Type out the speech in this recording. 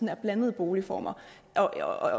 er blandede boligformer og at